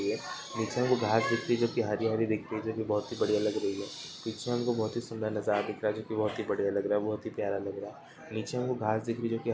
नीचे वो घास दिख रही है जो कि हरी- हरी दिख रही है जो की बहुत ही बढ़ियाँ लग रही है पीछे हमको बहुत ही सुंदर नजारा दिख रहा है जो की बहुत ही बढ़ियाँ लग रहा है बहुत ही प्यारा लग रहा है नीचे हमको घास दिख रही है जो की--